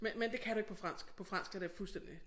Men men det kan du ikke på fransk på fransk er det fuldstændig